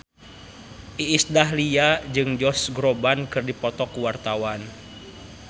Iis Dahlia jeung Josh Groban keur dipoto ku wartawan